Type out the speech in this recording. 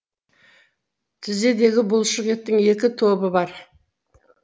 тізедегі бұлшық еттің екі тобы бар